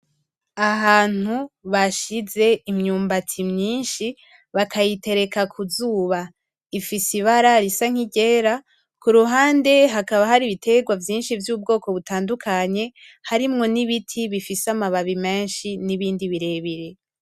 Ahantu bashize imyumbati myinshi bakayitereka kuzuba ifise ibara risa nkiryera kuruhande hakaba hari ibitegwa vyinshi vy’ubwoko butadukanye harimo n'ibiti bifise amababi menshi n'ibindi birebire.